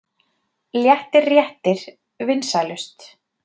Léttir réttir vinsælust